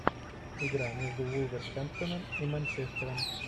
игра между вулверхэмптоном и манчестером